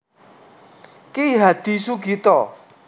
Ki Hadi Sugito